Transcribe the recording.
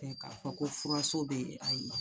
K'a fɔ ko furaso bɛ yen ayi